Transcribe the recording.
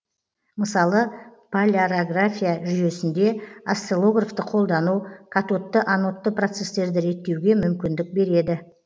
мысалы полярография жүйесінде осциллографты қолдану катодты анодты процестерді реттеуге мүмкіндік береді